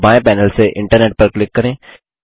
बायें पैनल से इंटरनेट पर क्लिक करें